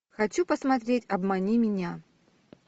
хочу посмотреть обмани меня